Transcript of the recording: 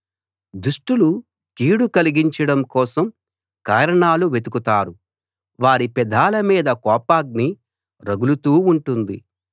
దుష్టులు కీడు కలిగించడం కోసం కారణాలు వెతుకుతారు వారి పెదాల మీద కోపాగ్ని రగులుతూ ఉంటుంది